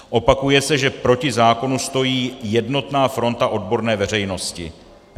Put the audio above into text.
Opakuje se, že proti zákonu stojí jednotná fronta odborné veřejnosti.